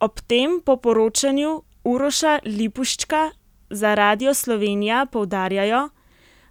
Ob tem po poročanju Uroša Lipuščka za Radio Slovenija poudarjajo,